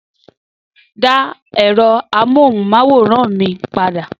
Dá ẹ̀rọ amóhùnmáwòrán mi padà